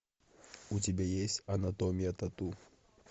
у тебя есть анатомия тату